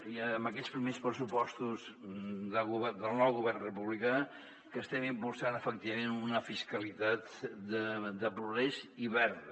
i amb aquests primers pressupostos del nou govern republicà estem impulsant efectivament una fiscalitat de progrés i verda